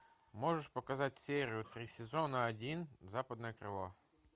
можешь показать серию три сезона один западное крыло